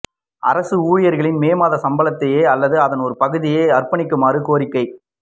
அரச ஊழியர்களின் மே மாத சம்பளத்தையோ அல்லது அதன் ஒரு பகுதியை அர்ப்பணிக்குமாறு கோரிக்கை